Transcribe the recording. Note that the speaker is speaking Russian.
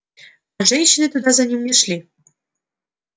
а женщины туда за ним не шли